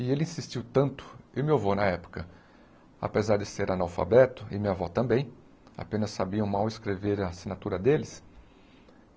E ele insistiu tanto, e meu avô na época, apesar de ser analfabeto, e minha avó também, apenas sabiam mal escrever a assinatura deles.